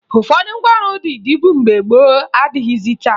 Ụfọdụ ngwaọrụ ndị dịbu mgbe gboo adịghịzị taa